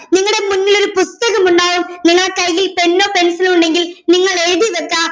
നിങ്ങടെ മുന്നിലൊരു പുസ്തകം ഉണ്ടോ നിങ്ങടെ കയ്യിൽ pen ഓ pencil ഓ ഉണ്ടെങ്കിൽ നിങ്ങൾ എഴുതി വെക്കാ